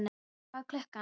Sveina, hvað er klukkan?